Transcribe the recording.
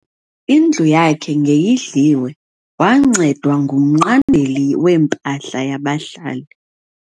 Indlu yakhe ngeyidliwe wancedwa ngumnqandeli wempahla yabahlali.